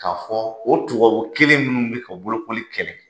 K'a fɔ o tubabu kelen ninnu bɛ ka bolokoli kɛlɛ.